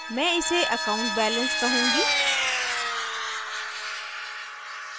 मैं इसे accountbalance कहूँगी